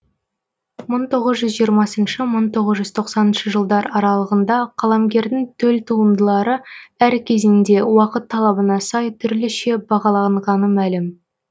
мы тоғыз жүз жиырмасыншы мың тоғыз жүз тоқсаныншы жылдар аралығында қаламгердің төл туындылары әр кезеңде уақыт талабына сай түрліше бағаланғаны мәлім